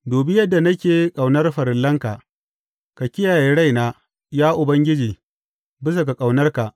Dubi yadda nake ƙaunar farillanka; ka kiyaye raina, ya Ubangiji, bisa ga ƙaunarka.